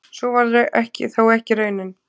Sú varð þó ekki raunin.